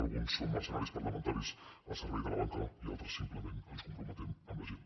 alguns són mercenaris parlamentaris al servei de la banca i altres simplement ens comprometem amb la gent